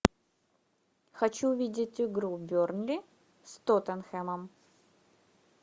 хочу увидеть игру бернли с тоттенхэмом